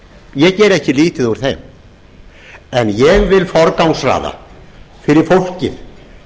ég geri ekki lítið úr þeim en ég vil forgangsraða fyrir fólkið